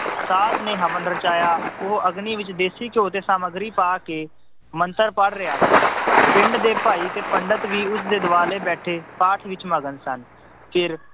ਸਾਧ ਨੇ ਹਵਨ ਰਚਾਇਆ ਉਹ ਅਗਨੀ ਵਿੱਚ ਦੇਸ਼ੀ ਘਿਓ ਤੇ ਸਮੱਗਰੀ ਪਾ ਕੇ ਮੰਤਰ ਪੜ੍ਹ ਰਿਹਾ ਸੀ, ਪਿੰਡ ਦੇ ਭਾਈ ਤੇ ਪੰਡਿਤ ਵੀ ਉਸਦੇ ਦੁਆਲੇ ਬੈਠੇ ਪਾਠ ਵਿੱਚ ਮਗਨ ਸਨ ਫਿਰ